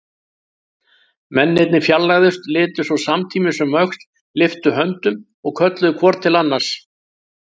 Mennirnir fjarlægðust, litu svo samtímis um öxl, lyftu höndum og kölluðu hvor til annars